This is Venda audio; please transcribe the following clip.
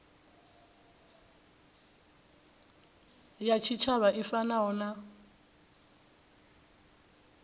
ya tshitshavha i fanaho na